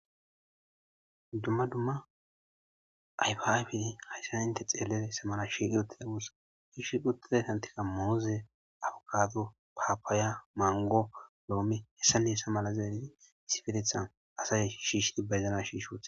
Dumma dumma ayfaybi hayisana inte xeelee sa mala shiiqi uttide wusa hishiiqi uttide santika mooze abukaato paapaaya mango loome hessane hessa mala zaalidi siferethan asa shiishidi bayzana shiishot.